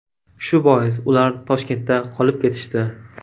Shu bois ular Toshkentda qolib ketishdi.